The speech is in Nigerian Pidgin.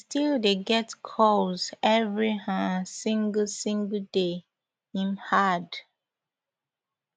we still dey get [calls] evri um single single day im add